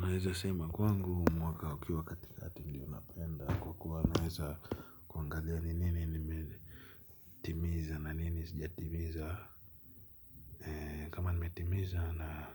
Naeza sema kwangu mwaka ukiwa katikati ndio napenda kwa kuwa naeza kuangalia ni nini nimetimiza na nini sijatimiza nimetimiza na